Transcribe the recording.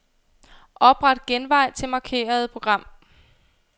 Opret genvej til markerede program.